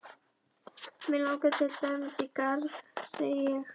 Mig langar til dæmis í garð, segi ég.